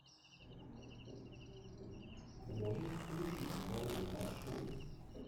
можешь включить мировые маршруты